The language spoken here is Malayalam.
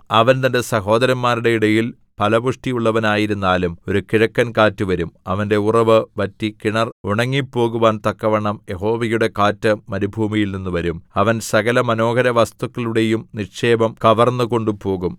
അവൻ തന്റെ സഹോദരന്മാരുടെ ഇടയിൽ ഫലപുഷ്ടിയുള്ളവനായിരുന്നാലും ഒരു കിഴക്കൻകാറ്റു വരും അവന്റെ ഉറവു വറ്റി കിണർ ഉണങ്ങിപ്പോകുവാൻ തക്കവണ്ണം യഹോവയുടെ കാറ്റ് മരുഭൂമിയിൽനിന്നു വരും അവൻ സകലമനോഹരവസ്തുക്കളുടെയും നിക്ഷേപം കവർന്നുകൊണ്ടുപോകും